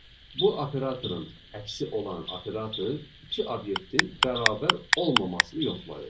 Bu operatorun əksi olan operator iki obyektin bərabər olmamasını yoxlayır.